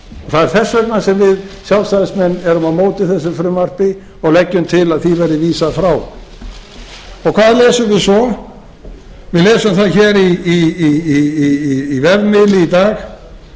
það er þess vegna sem við sjálfstæðismenn erum á móti þessu frumvarpi og leggjum til að því verði vísað frá hvað lesum við svo við lesum það í vefmiðli í dag að það